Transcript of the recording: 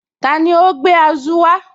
Tani ó gbé Azu wá?